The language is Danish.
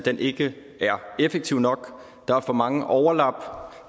ikke er effektiv nok der er for mange overlap